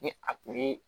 Ni a tulu